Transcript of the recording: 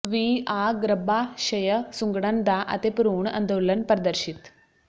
ਵੀ ਆ ਗਰੱਭਾਸ਼ਯ ਸੁੰਗੜਨ ਦਾ ਅਤੇ ਭਰੂਣ ਅੰਦੋਲਨ ਪ੍ਰਦਰਸ਼ਿਤ